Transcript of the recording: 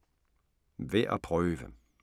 Værd at prøve: